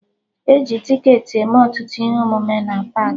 E ji ticketị eme ọtụtụ ihe omume na paakị